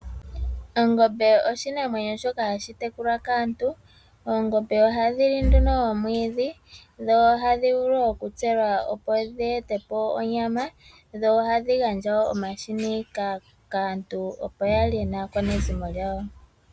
Ongombe oshinamwenyo shoka hashi tekulwa kaantu . Oongombe ohadhi li oomwiidhi , dho ohadhi vulu okutselwa dheetepo onyama , dho ohadhi gandja omahini kaantu opo yalye naakwanezimo lyawo.